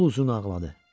Yol uzun ağladı.